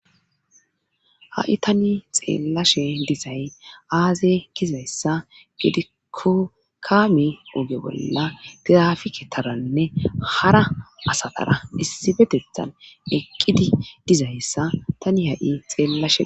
Ha7i tani xeellashe dizay aaze gizayssa gidiko kaami oge bolla tirafike taranne hara asatara issibetethan eqqidi dizayssa tani ha7i xeellashee.